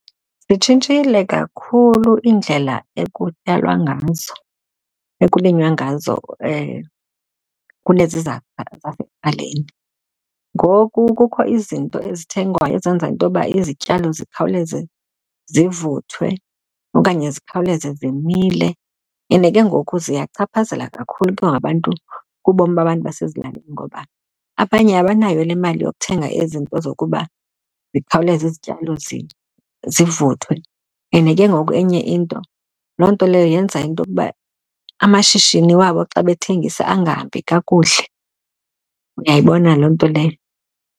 Zitshintshile kakhulu iindlela ekutyalwa ngazo, ekulinywa ngazo kunezi zasekuqaleni. Ngoku kukho izinto ezithengwayo ezenza into yoba izityalo zikhawuleze zivuthwe okanye zikhawuleze zimile ende ke ngoku ziyachaphazela kakhulu ke abantu, kubomi abantu basezilalini. Ngoba abanye abanayo le mali yokuthenga ezi zinto zokuba zikhawuleze izityalo zivuthwe ende ke ngoku enye into, loo nto leyo yenza into yokuba amashishini wabo xa bathengisa angahambi kakuhle. Uyayibona loo nto leyo?